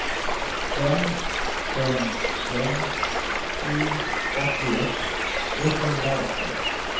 fem fem fem sju åttioett etthundraarton